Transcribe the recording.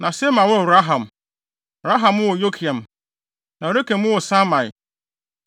Na Sema woo Raham. Raham woo Yorkeam. Na Rekem woo Samai.